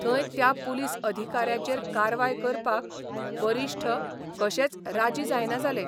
थंय त्या पुलीस अधिकाऱ्याचेर कारवाय करपाक वरिश्ठ कशेच राजी जायना जाले.